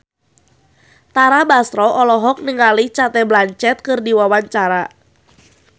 Tara Basro olohok ningali Cate Blanchett keur diwawancara